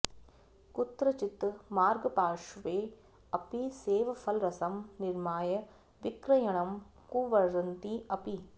कुत्रचित् मार्गपार्श्वे अपि सेवफलरसं निर्माय विक्रयणं कुर्वन्ति अपि